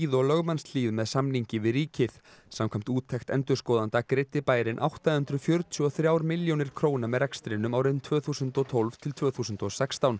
og lögmannshlíð með samningi við ríkið samkvæmt úttekt endurskoðanda greiddi bærinn átta hundruð fjörutíu og þrjár milljónir króna með rekstrinum árin tvö þúsund og tólf til tvö þúsund og sextán